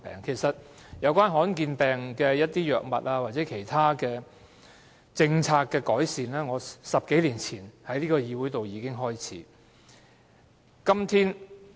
其實，對於罕見疾病的藥物或其他政策改善，我10多年前已在這個議會開始爭取。